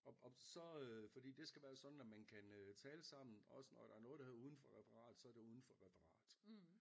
Og og så øh fordi det skal være sådan at man kan tale sammen også når der er noget der hedder uden for referat så er det uden for referat